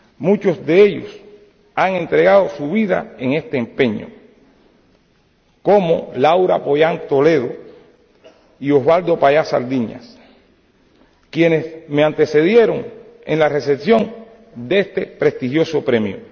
Muchos de ellos han entregado su vida en este empeño, como Laura Pollán Toledo y Oswaldo Payá Sardiñas, quienes me antecedieron en la recepción de este prestigioso premio.